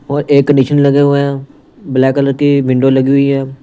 और एक निशन लगे हुए हैं ब्लैक कलर की विंडो लगी हुई है।